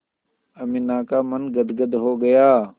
अमीना का मन गदगद हो गया